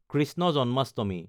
Krishna Janmashtami